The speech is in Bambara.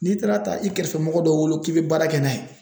N'i taara ta i kɛrɛfɛ mɔgɔ dɔ bolo k'i be baara kɛ n'a ye